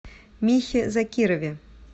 михе закирове